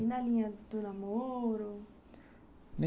E na linha do namoro?